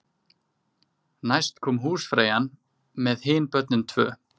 Næst kom húsfreyjan með hin börnin tvö.